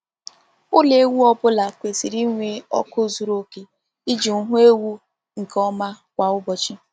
Ụlọ ewu ọ bụla kwesịrị inwe ọkụ zuru oke iji hụ ewu nke ọma kwa ụbọchị.